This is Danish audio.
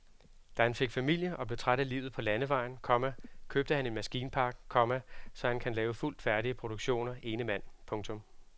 Da han fik familie og blev træt af livet på landevejen, komma købte han en maskinpark, komma så han kan lave fuldt færdige produktioner ene mand. punktum